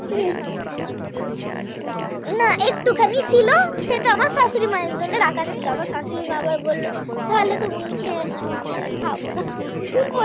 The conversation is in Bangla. শাশুড়ি মায়ের জন্য রাখা ছিল আবার শাশুড়ি মা বলল তাহলে তুমি খেয়ে নাও আমি আর খাব না হিহি